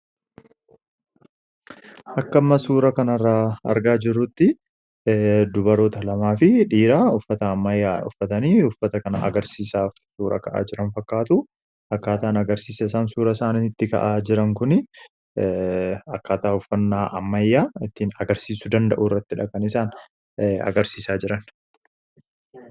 Akka amma suura kana irraa argaa jirutti dubaroota lamaa fi dhiira uffata ammayyaa uffatanii uffata kana agarsiisaaf suura ka'aa jiran fakkaatu. Akkaataan agarsiisa suura isaanii itti ka'aa jiran kun akkaataa uffannaa ammayyaa ittiin agarsiisu danda'uu irrattidha kan isaan agarsiisaa jiran.